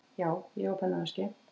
Já, ég á pennaveski.